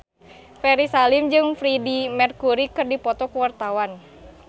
Ferry Salim jeung Freedie Mercury keur dipoto ku wartawan